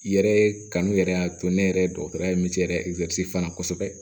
I yɛrɛ ye kanu yɛrɛ y'a to ne yɛrɛ ye dɔgɔtɔrɔ ye min yɛrɛ fana kosɛbɛ